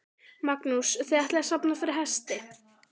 Magnús: Þið ætlið að safna fyrir hesti?